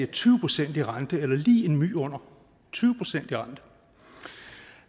tyve procent i rente eller lige en my under tyve procent i rente